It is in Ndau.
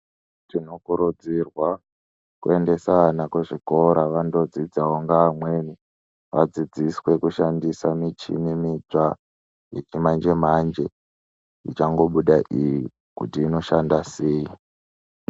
Zvinokurudzirwa kuendesa ana kuzvikora vandodzidzawo ngeamweni vadzidziswe kushandisa michini mitsva yechimanje manje ichangobuda iyi kuti inoshanda sei.